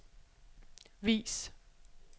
vis